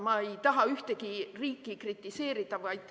Ma ei taha ühtegi riiki kritiseerida.